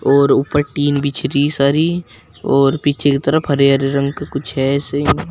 और ऊपर टीन बिछरी सारी और पीछे के तरफ हरे हरे रंग का कुछ है ऐसे--